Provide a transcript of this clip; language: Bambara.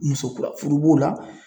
Muso kura furu b'o la.